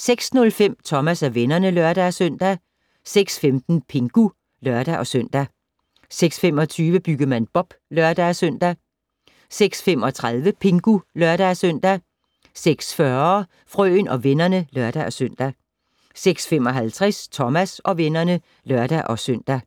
06:05: Thomas og vennerne (lør-søn) 06:15: Pingu (lør-søn) 06:25: Byggemand Bob (lør-søn) 06:35: Pingu (lør-søn) 06:40: Frøen og vennerne (lør-søn) 06:55: Thomas og vennerne (lør-søn)